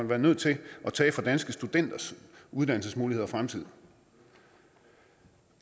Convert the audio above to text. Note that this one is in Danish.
været nødt til at tage fra danske studenters uddannelsesmuligheder og fremtid